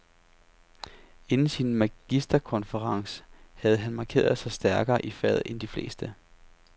Inden sin magisterkonferens havde han markeret sig stærkere i faget end de fleste.